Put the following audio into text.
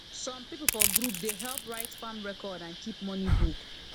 some people for group dey help write farm record and keep money book